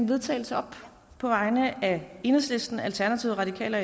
vedtagelse op på vegne af enhedslisten alternativet radikale